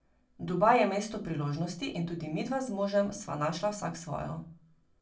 Dubaj je mesto priložnosti in tudi midva z možem sva našla vsak svojo.